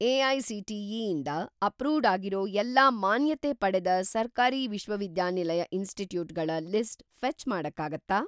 AICTE. ಇಂದ approved ಆಗಿರೋ ಎಲ್ಲಾ ಮಾನ್ಯತೆ ಪಡೆದ ಸರ್ಕಾರಿ ವಿಶ್ವವಿದ್ಯಾನಿಲಯ ಇನ್‌ಸ್ಟಿಟ್ಯೂಟ್‌ಗಳ ಲಿಸ್ಟ್ ಫೆ಼ಚ್‌ ಮಾಡಕ್ಕಾಗತ್ತಾ?